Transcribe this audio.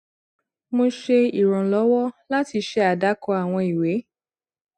mo ṣe ìrànlọwọ láti ṣe àdàkọ àwọn ìwé